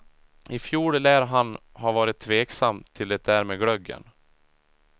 I fjol lär han ha varit tveksam till det där med glöggen.